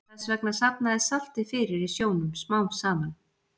Þess vegna safnast saltið fyrir í sjónum smám saman.